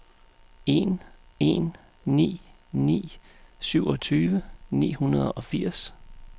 en en ni ni syvogtyve ni hundrede og firs